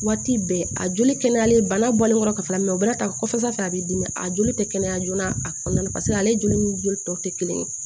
Waati bɛɛ a joli kɛnɛyalen bana bɔlen kɔfɛ ka fara o b'a kɔfɛ a bɛ dimi a joli tɛ kɛnɛya joona a kɔnɔna na paseke ale joli ni joli tɔ tɛ kelen ye